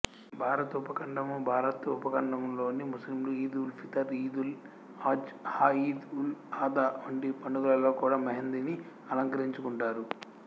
భారత ఉపఖండముభారత ఉపఖండంలోని ముస్లింలు ఈద్ఉల్ఫితర్ ఈదుల్ అజ్ హాఈద్ఉల్అధా వంటి పండుగలలో కూడా మెహందీని ఆలంకరించుకుంటారు